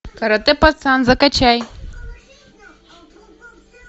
карате пацан закачай